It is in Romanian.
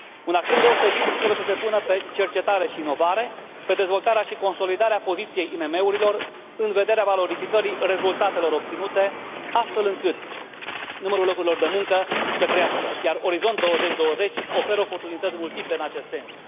Un accent deosebit trebuie să se pună pe cercetare și inovare, pe dezvoltarea și consolidarea poziției IMM urilor, în vederea valorificării rezultatelor obținute, astfel încât numărul locurilor de muncă să crească, iar Orizont 2020 oferă oportunități multiple în acest sens.